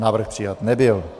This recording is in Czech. Návrh přijat nebyl.